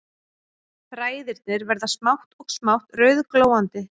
Þræðirnir verða smátt og smátt rauðglóandi